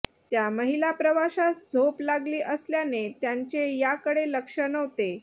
त्या महिला प्रवाशास झोप लागली असल्याने त्यांचे याकडे लक्ष नव्हते